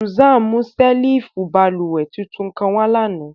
Susan mu ṣẹ́lífù bálúwẹ̀ tuntun kan wà lánà.